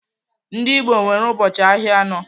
Ndị Igbo nwere ụbọchị ahịa anọ.